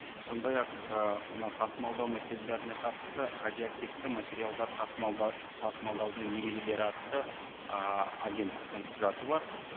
сондай ақ ы мына тасымалдау мәселелеріне қатысты радиоактивті материалдар тасымалдаудың ережелері атты ы агенттіктің құжаты бар